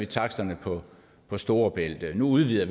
taksterne på storebælt at nu udvider